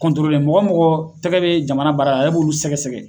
mɔgɔ o mɔgɔ tɛgɛ be jamana baara ale b'olu sɛgɛsɛgɛ.